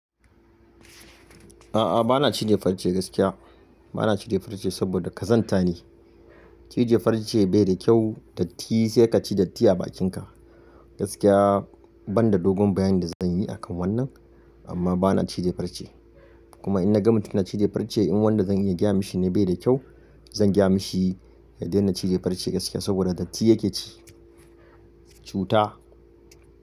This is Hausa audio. A'a bana cije farce gaskiya. Bana cije farce saboda kazanta ne. Cije farce bai da kyau, datti sai ka ci datti a bakinka. Gaskiya banda dogon bayanin da zan yi akan wannan, amma bana cije farce. Kuma in na ga mutum na cije farce in wanda zan iya giya mishi ne bai da kyau, zan giya mishi ya daina cije farce gaskiya saboda datti yake ci. Cuta.